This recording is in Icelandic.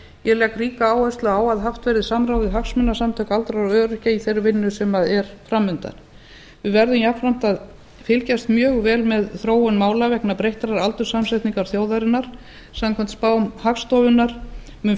ég legg ríka áherslu á að haft verði samráð við hagsmunasamtök aldraðra og öryrkja í þeirri vinnu sem er fram undan við verðum jafnframt að fylgjast mjög vel með þróun mála vegna breyttrar aldurssamsetningar þjóðarinnar samkvæmt spám hagstofunnar mun